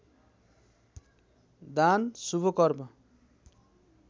दान शुभ कर्म